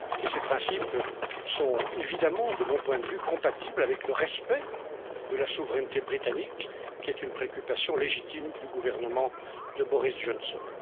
Ces principes sont, évidemment, de mon point de vue, compatibles avec le respect de la souveraineté britannique, qui est une préoccupation légitime du gouvernement de Boris Johnson.